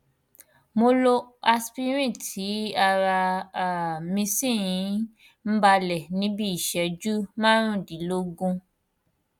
mo lo aspirin tí ara um mí sì um balẹ ní bí iìṣẹjú márùndínlógún